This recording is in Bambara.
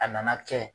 A nana kɛ